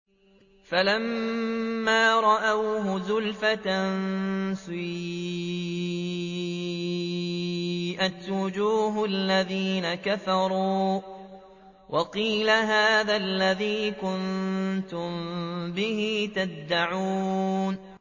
فَلَمَّا رَأَوْهُ زُلْفَةً سِيئَتْ وُجُوهُ الَّذِينَ كَفَرُوا وَقِيلَ هَٰذَا الَّذِي كُنتُم بِهِ تَدَّعُونَ